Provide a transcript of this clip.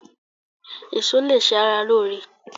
Eso lè ṣe ara lóore.